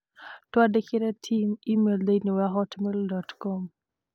Twandĩkĩre Tim e-mail thĩinĩ wa hotmail dot com